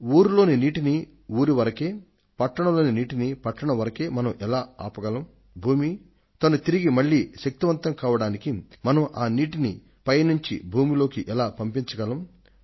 ఊరిలోని నీటిని ఊరి వరకే పట్టణంలోని నీటిని పట్టణం వరకే మనం ఎలా ఆపగలం తల్లి భూమి తిరిగి శక్తిని పుంజుకోవడానికి మనం నీటిని మళ్లీ భూమి లోకి ఎలా పంపించగలం